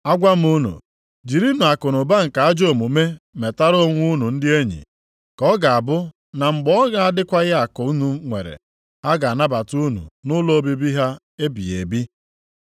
Agwa m unu, jirinụ akụnụba nke ajọ omume metara onwe unu ndị enyi, ka ọ ga-abụ na mgbe ọ na-adịghịkwa akụ unu nwere, ha ga-anabata unu nʼụlọ obibi ha ebighị ebi.